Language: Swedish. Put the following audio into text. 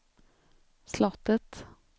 slottet